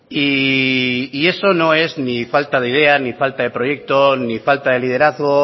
y eso no es ni falta de idea ni falta de proyecto ni falta de liderazgo